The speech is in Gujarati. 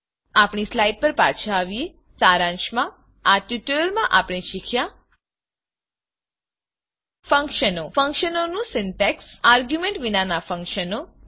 આપણી સ્લાઈડ પર પાછા આવીએ સારાંશમાં આ ટ્યુટોરીયલમાં આપણે શીખ્યા ફંક્શનો ફંક્શનનું સિન્ટેક્ષ આર્ગ્યુંમેંટ વિનાનાં ફંક્શન દા